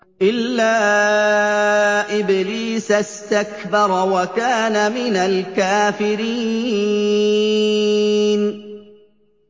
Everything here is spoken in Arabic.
إِلَّا إِبْلِيسَ اسْتَكْبَرَ وَكَانَ مِنَ الْكَافِرِينَ